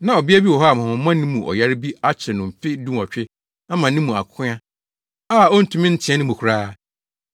na ɔbea bi wɔ hɔ a honhommɔne mu ɔyare bi akyere no mfe dunwɔtwe ama ne mu akoa a ontumi nteɛ ne mu koraa.